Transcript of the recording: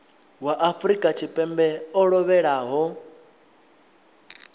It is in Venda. wa afrika tshipembe o lovhelaho